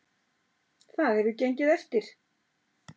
Það hefur gengið eftir.